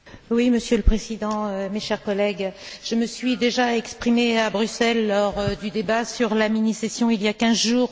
Monsieur le Président, mes chers collègues, je me suis déjà exprimée à Bruxelles lors du débat sur la mini session, il y a quinze jours.